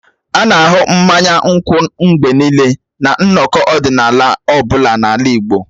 A na-ahụ mmanya nkwụ mgbe niile na nnọkọ ọdịnala ọ bụla n'ala Igbo.